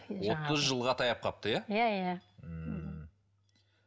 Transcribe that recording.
отыз жылға таяп қалыпты иә иә иә ммм